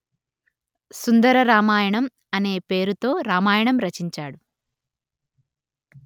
సుందర రామాయణం అనే పేరుతో రామాయణం రచించాడు